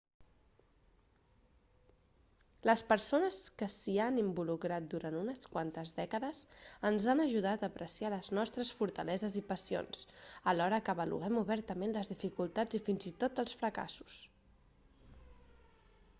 les persones que s'hi han involucrat durant unes quantes dècades ens han ajudat a apreciar les nostres fortaleses i passions alhora que avaluem obertament les dificultats i fins i tot els fracassos